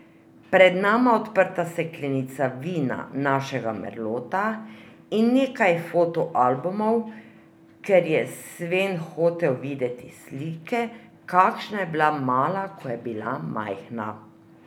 Pred nama odprta steklenica vina našega merlota in nekaj foto albumov, ker je Sven hotel videti slike, kakšna je bila Mala, ko je bila majhna.